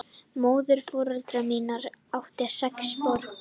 Móðurforeldrar mínir áttu sex börn.